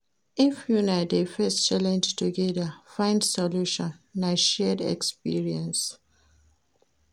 If una dey face challenge togeda, find solution, na shared experience.